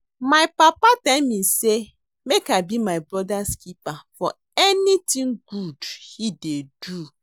My papa tell me say make I be my brother's keeper for anything good he dey do